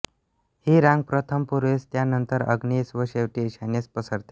ही रांग प्रथम पूर्वेस त्यानंतर आग्नेयीस व शेवटी ईशान्येस पसरते